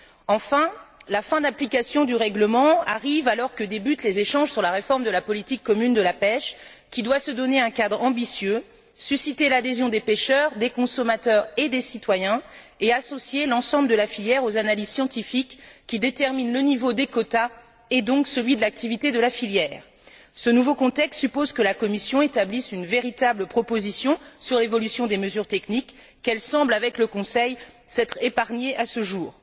Enfin, la fin de l'application du règlement arrive alors que débutent les échanges sur la réforme de la politique commune de la pêche, qui doit se donner un cadre ambitieux, susciter l'adhésion des pêcheurs, des consommateurs et des citoyens, et associer l'ensemble de la filière aux analyses scientifiques, qui déterminent le niveau des quotas, et donc celui de l'activité de la filière. Ce nouveau contexte suppose que la Commission établisse une véritable proposition sur l'évolution des mesures techniques, qu'elle semble, avec le Conseil, s'être épargnée à ce jour.